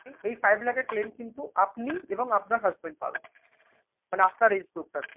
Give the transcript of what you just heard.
এই five লাখের claim কিন্তু আপনি এবং আপনার husband পাবেন। মানে আপনার এই